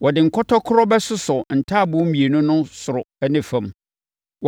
Wɔde nkɔtɔkorɔ bɛsosɔ ntaaboo mmienu no soro ne ne fam.